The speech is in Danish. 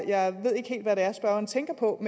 jeg ved ikke helt hvad det er spørgeren tænker på